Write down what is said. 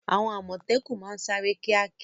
Àwọn àmọ̀tẹ́kùn máa ń sáré kíákíá.